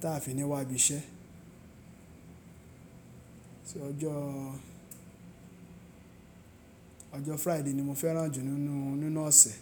táa fi níwà bí iṣẹ́. Ọjọ́ Friday ni mo fẹ́ràn jù nínú, nínú ọ̀sẹ̀